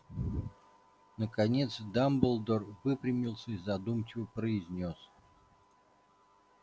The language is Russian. наконец дамблдор выпрямился и задумчиво произнёс